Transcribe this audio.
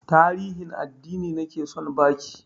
Tarihin addini nake son ba ki